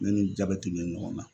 Ne ni jabɛti bɛ ɲɔgɔn na.